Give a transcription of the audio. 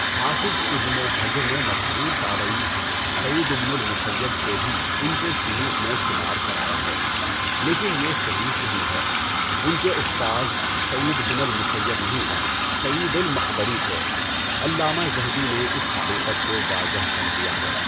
حافظ ابن حجر نے مشہور تابعی سعیدُ بنُ الْمُسَیَّب کو بھی ان کے شیوخ میں شمار کرایا ہے لیکن یہ صحیح نہیں ہے۔ ان کے استاذ سعید بن المسیب نہیں، سعید المَقبَرِی تھے۔ علامہ ذہبی نے اس حقیقت کو واضح کر دیا ہے۔